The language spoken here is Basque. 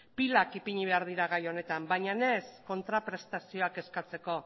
pilak ipini behar dira gai honetan baina ez kontraprestazioak eskatzeko